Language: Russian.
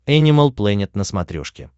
энимал плэнет на смотрешке